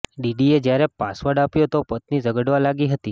ડેડીએ જ્યારે પાસવર્ડ આપ્યો તો પત્ની ઝગડવા લાગી હતી